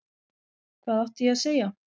Hvað átti ég að segja?